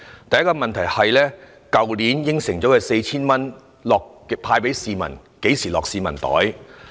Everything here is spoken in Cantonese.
第一個問題是，去年答應派發的 4,000 元，何時才會派到市民手上？